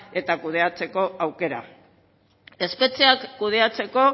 eta kudeatzeko aukera espetxeak kudeatzeko